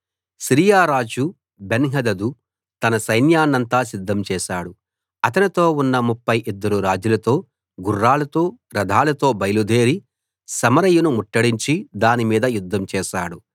Syria రాజు Benhadad తన సైన్యాన్నంతా సిద్ధం చేశాడు అతనితో ఉన్న ముప్ఫై ఇద్దరు రాజులతో గుర్రాలతో రథాలతో బయలుదేరి సమరయను ముట్టడించి దాని మీద యుద్ధం చేశాడు